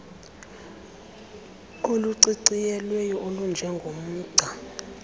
oluciciyelweyo olunje ngomgca